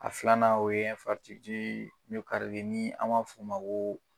A filanan o ye n'an m'a fɔ o ma ko